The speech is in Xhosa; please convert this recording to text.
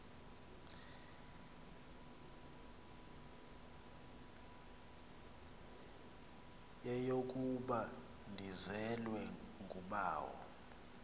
yeyokuba ndizelwe ngubawo